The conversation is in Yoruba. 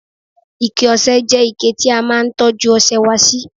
ike ọsẹ je ike ti a máa n tọju ọsẹ wa si